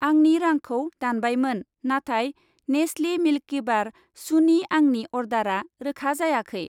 आंनि रांखौ दानबायमोन, नाथाय नेस्लि मिल्किबार चुनि आंनि अर्डारा रोखा जायाखै।